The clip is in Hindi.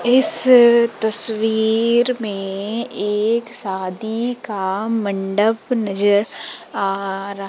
इस तस्वीर में एक शादी का मंडप नजर आ रह--